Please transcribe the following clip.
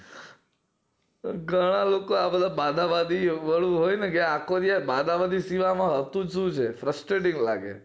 ઘણા લોકો આ બાઘા બાધા વાળું હોય ને કે આ આખો દી બાઘા બાધી સિવાય આમાં હોતું જ સુ છે frustrating લાગે